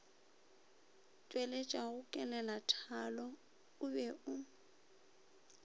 tšweletšago kelelathalo o be o